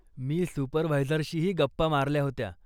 मी सुपरव्हायझरशीही गप्पा मारल्या होत्या.